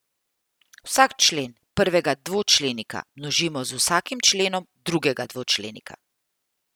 Vsak člen prvega dvočlenika množimo z vsakim členom drugega dvočlenika.